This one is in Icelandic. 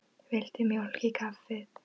Viltu mjólk í kaffið?